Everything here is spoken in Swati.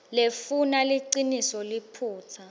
lefuna liciniso liphutsa